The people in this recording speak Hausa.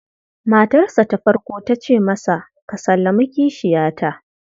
Matarsa ta farko ta ce masa, "Ka sallami kishiyata".